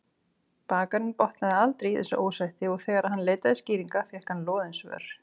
Bakarinn botnaði aldrei í þessu ósætti og þegar hann leitaði skýringa fékk hann loðin svör.